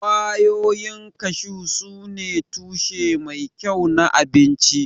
Ƙwayoyin kashu sune tushe mai kyau na abinci.